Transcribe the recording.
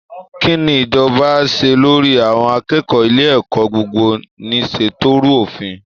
Kí ni ìjọba á ṣe lórí àwọn akẹ́kọ̀ọ́ ilé ẹ̀kọ́ gbogbo-nìṣe tó rú òfin?